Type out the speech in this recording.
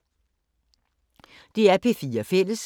DR P4 Fælles